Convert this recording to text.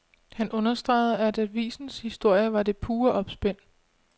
Han understregede, at avisens historie var det pure opspind.